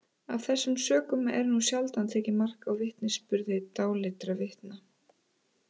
Af þessum sökum er nú sjaldan tekið mark á vitnisburði dáleiddra vitna.